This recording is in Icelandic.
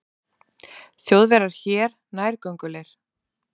Þjóðverjar hér nærgöngulir.